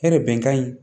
Hɛrɛ bɛnkan in